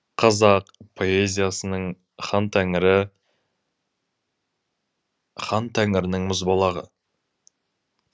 қазақ поэзиясының хан тәңірі хан тәңірінің мұзбалағы